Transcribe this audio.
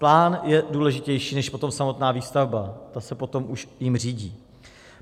Plán je důležitější než potom samotná výstavba, ta se potom už tím řídí.